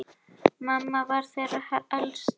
Mamma var þeirra elst.